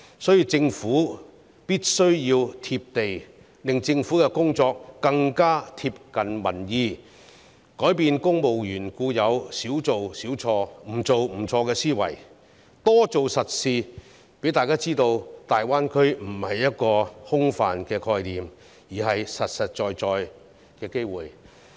所以，政府必須"貼地"，令政府的工作更貼近民意，改變公務員固有"少做少錯、不做不錯"的思維，多做實事，讓大家知道大灣區不是一個空泛的概念，而是實實在在的機會。